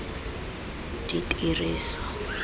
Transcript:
ditiriso